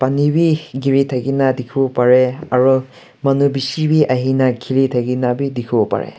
pani bhi giri thaki na dekhi bo pari paisa aru manu bisi bhi ahena khuli thaki na dekhe bo pare.